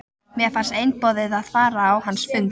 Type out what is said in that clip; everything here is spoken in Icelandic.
Mér fannst einboðið að fara á hans fund.